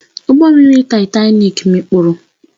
Ụgbọ mmiri Taịtani mikpuru